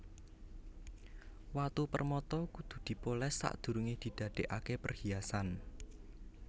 Watu permata kudu dipolès sadurungé didadèkaké perhiasan